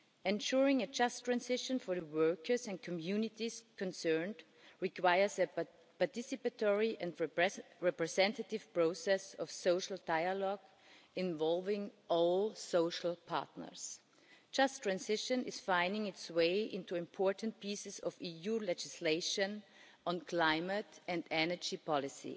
Ensuring a just transition for the workers and communities concerned requires a participatory and progressive representative process of social dialogue, involving all social partners. Just transition is finding its way into important pieces of EU legislation on climate and energy policy.